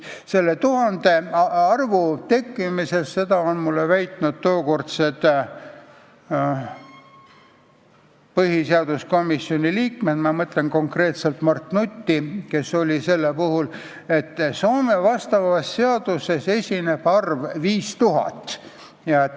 Selle arvu 1000 tekkimises – seda on mulle väitnud tookordne põhiseaduskomisjoni liige Mart Nutt – oli olulisel kohal see, et Soome seaduses esineb arv 5000.